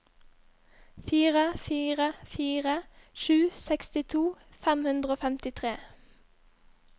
fire fire fire sju sekstito fem hundre og femtitre